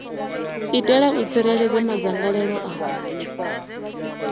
itela u tsireledza madzangalelo a